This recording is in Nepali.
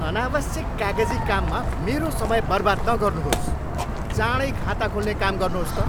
अनावश्यक कागजी काममा मेरो समय बर्बाद नगर्नुहोस्। चाँडै खाता खोल्ने काम गर्नुहोस् त !